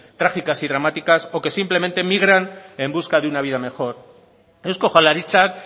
trágicas y dramáticas o que simplemente migran en busca de una vida mejor eusko jaurlaritzak